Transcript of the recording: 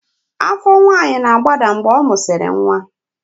Afọ nwanyị na-agbada mgbe ọ mụsịrị nwa